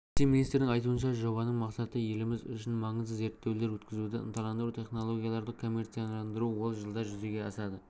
вице-министрдің айтуынша жобаның мақсаты еліміз үшін маңызды зерттеулер өткізуді ынталандыру технологияларды коммерцияландыру ол жылда жүзеге асады